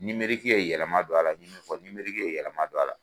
ye yɛlɛma don a la, n bɛ min fɔ ye yɛlɛma don a la.